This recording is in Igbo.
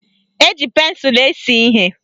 Eji pensụlụ ese ihe.